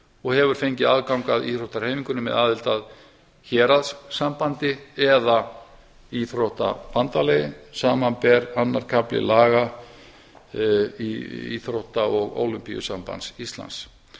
og hefur fengið aðgang að íþróttahreyfingunni með aðild að héraðssambandi eða íþróttabandalagi samanber annar kafli laga íþrótta og ólympíusambandi íslands